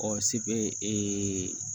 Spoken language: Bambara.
sibe